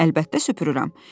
Əlbəttə süpürürəm.